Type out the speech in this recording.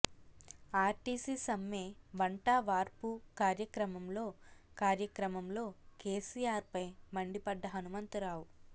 RTC సమ్మె వంటవార్పు కార్యక్రమంలో కార్యక్రమంలో కేసీఆర్ పై మండిపడ్డ హనుమంత రావు